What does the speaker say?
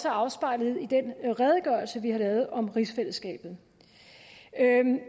afspejlet i den redegørelse vi har lavet om rigsfællesskabet